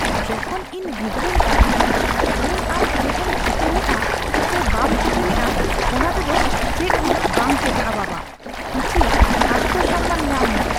ᱡᱚᱠᱷᱚᱱ ᱤᱧ ᱜᱤᱫᱽᱨᱟᱹᱧ ᱛᱟᱦᱮᱸᱠᱟᱱᱟ ᱩᱱ ᱟᱢ ᱪᱮᱫ ᱮᱢ ᱪᱤᱠᱟᱹ ᱞᱮᱜᱼᱟ ᱥᱮ ᱵᱟᱢ ᱪᱤᱠᱟᱹᱞᱮᱜᱼᱟ ᱚᱱᱟᱛᱮ ᱫᱚ ᱪᱮᱫᱦᱚᱸ ᱵᱟᱝ ᱪᱮᱠᱟᱜᱼᱟ ᱵᱟᱵᱟ᱾ ᱠᱤᱪᱷᱤ ᱟᱛᱢᱚᱼᱥᱚᱢᱢᱟᱱ ᱧᱟᱢ ᱢᱮ (ᱠᱚᱲᱟ)